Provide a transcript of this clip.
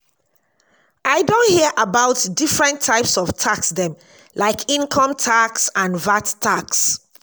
i don hear about different types of tax dem like income tax and vat tax.